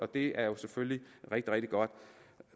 det er jo selvfølgelig rigtig rigtig godt